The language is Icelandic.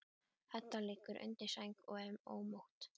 Edda liggur undir sæng og er ómótt.